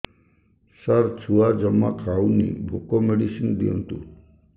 ସାର ଛୁଆ ଜମା ଖାଉନି ଭୋକ ମେଡିସିନ ଦିଅନ୍ତୁ